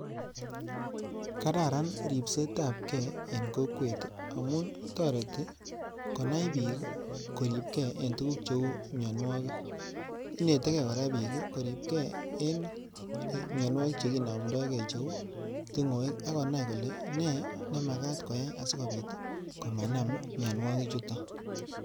kararn ripset ap kee eng kokweet amun tarit korip kee piik eng mianwagik kouu tungweek koo nyaluu konaii chito kolee aeee nee simanama mianwaiii chutok.